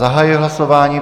Zahajuji hlasování.